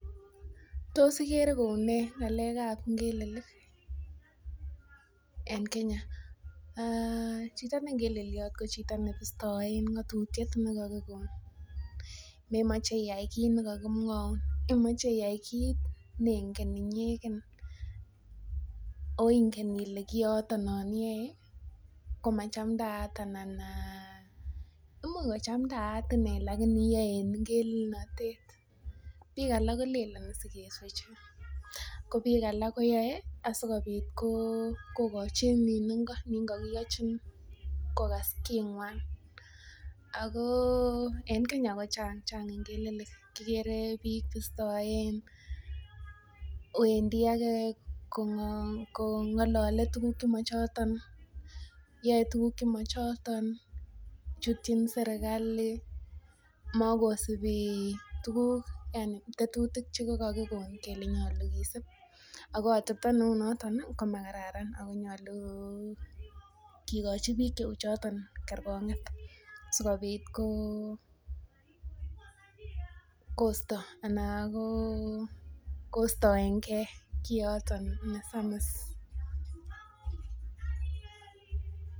Tos ikere kounee ng'alek ab ngelelik en Kenya um chito ne ngeleliot ko chito nebistoen ng'otutiet ne kokikon, memoche iyai kit nekakimwoun imoche iyai kit nengen inyeken oh ingen ile kioton non iyoe komachamdaat ana imuch kochamdaat inee lakini iyoe en ngelelnotet, biik alak kolenen sikeswechin ko biik alak koyoe asikobit kokochi nin ngo nin kokiyochin kokas king'wan ako en Kenya ko chang ngelelik, kikere biik bistoen wendii ake kong'olole tuguk chemochoton yoe tuguk chemochoton chutyin serkali mokosibi tuguk yani tetutik chekakikon kele nyolu kisip ako atepto neunoton oh komakararan ako nyolu kikochi biik cheu choton kerkong'et sikobit kosto ana ko kostoengee kioton nesamis